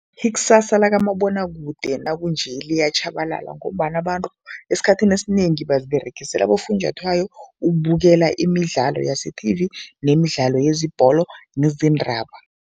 Ikusasa lakamabonwakude nakunje liyatjhabalala ngombana abantu esikhathini esinengi baziberegisela abofunjathwayo ukubukela imidlalo yase-T_V nemidlalo yezebholo, nezindaba.